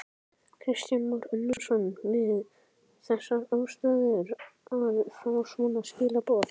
Kristján Már Unnarsson: Við þessar aðstæður að fá svona skilaboð?